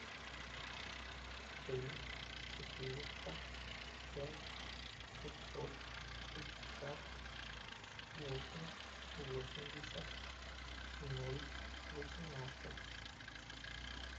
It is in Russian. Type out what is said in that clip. три четыреста пять пятьсот пятьдесят восемь восемьдесят ноль восемнадцать